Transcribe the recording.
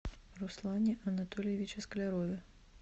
руслане анатольевиче склярове